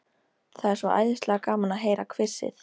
Það er svo æðislega gaman að heyra hvissið.